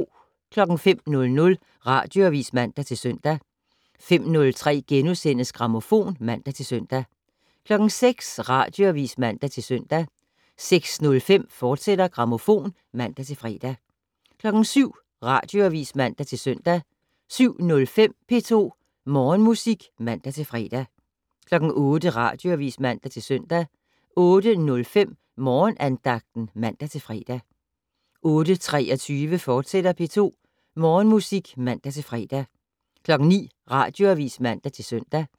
05:00: Radioavis (man-søn) 05:03: Grammofon *(man-søn) 06:00: Radioavis (man-søn) 06:05: Grammofon, fortsat (man-fre) 07:00: Radioavis (man-søn) 07:05: P2 Morgenmusik (man-fre) 08:00: Radioavis (man-søn) 08:05: Morgenandagten (man-fre) 08:23: P2 Morgenmusik, fortsat (man-fre) 09:00: Radioavis (man-søn)